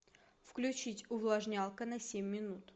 включить увлажнялка на семь минут